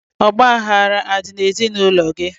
Ọgbaghara adị n'ezinaụlọ gị?